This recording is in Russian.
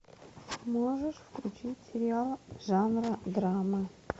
можешь включить сериал жанра драма